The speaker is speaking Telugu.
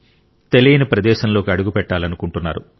తెలియని ప్రదేశంలోకి అడుగు పెట్టాలనుకుంటున్నారు